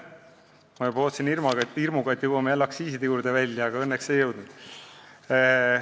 Ma juba ootasin hirmuga, et jõuame jälle aktsiiside juurde välja, aga õnneks ei jõudnud.